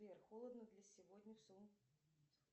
сбер холодно для сегодня